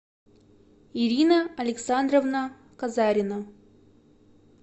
ирина александровна казарина